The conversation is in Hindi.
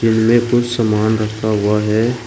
इनमें कुछ सामान रखा हुआ है।